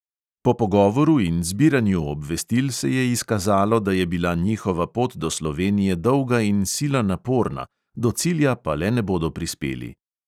Po pogovoru in zbiranju obvestil se je izkazalo, da je bila njihova pot do slovenije dolga in sila naporna, do cilja pa le ne bodo prispeli.